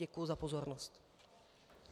Děkuji za pozornost.